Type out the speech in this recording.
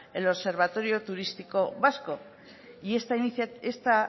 el observatorio turístico vasco y esta